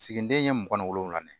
Siginiden ye mugan wolonwula ye